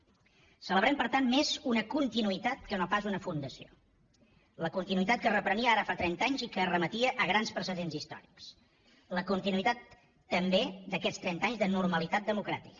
celebrem per tant més una continuïtat que no pas una fundació la continuïtat que es reprenia ara fa trenta anys i que es remetia a grans precedents històrics la continuïtat també d’aquests trenta anys de normalitat democràtica